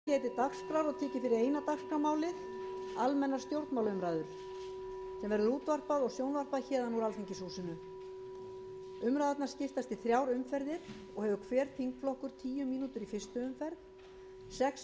gengið er til dagskrár og tekið fyrir eina dagskrármálið almennar stjórnmálaumræður þeim verður útvarpað og sjónvarpað héðan úr alþingishúsinu umræðurnar skiptast í þrjár umferðir og hefur hver þingflokkur tíu mínútur í fyrstu umferð sex mínútur í annarri og sex